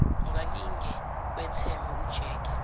ungalinge wethembe ujeke